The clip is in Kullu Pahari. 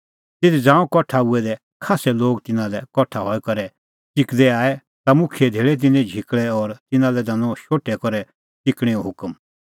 ज़ांऊं तिधी कठा हुऐ दै खास्सै लोग तिन्नां लै कठा हई करै च़िकदै आऐ ता मुखियै धेल़ै तिन्नें झिकल़ै और तिन्नां लै दैनअ शोठै करै च़िकणैंओ हुकम